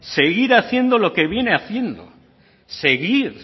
seguir haciendo lo que viene haciendo seguir